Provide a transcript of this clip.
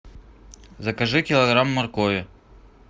закажи килограмм моркови